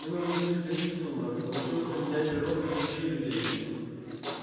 мы научились ходить в сумрак научилась менять природу вещей и людей